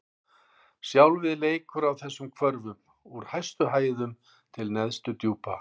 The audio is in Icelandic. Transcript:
Sjálfið leikur á þessum hvörfum: úr hæstu hæðum til neðstu djúpa.